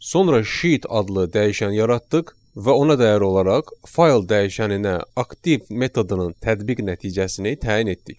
Sonra sheet adlı dəyişən yaratdıq və ona dəyər olaraq fayl dəyişəninə aktiv metodunun tətbiq nəticəsini təyin etdik.